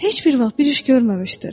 Heç bir vaxt bir iş görməmişdir.